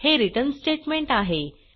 हे return statement आहे